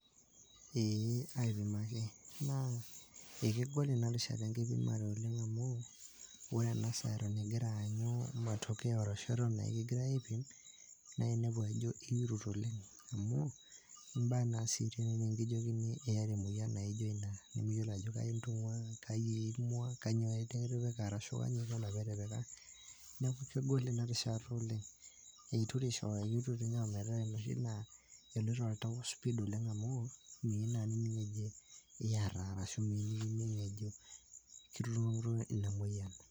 eeh, aipimaki naa ekegol inarishata enkipimare oleng amu wore ena saa eton ingira aanyu matokeo arashu eton ekigirae aipim nainepu ajo iirut oleng amu imba naa sii tenikijokini iata emoyian naijo ina nemiyiolo ajo kaji intung'ua kaji eimua kanyio nikitipika arashu kanyio inkuna pitipika neku kegol ina rishata oleng eituresho akirut ninye ometaa enoshi naa eloito oltau speed oleng amu miyieu naa nining eji iyata arashu miyieu nining eji kituiumo emoyian.